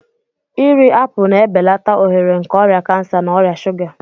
Iri apụl na-ebelata ohere nke ọrịa kansa na ọrịa shuga.